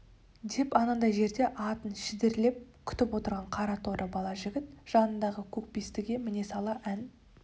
деп анадай жерде атын шідерлеп күтіп отырған қара торы бала жігіт жанындағы көкбестіге міне сала ән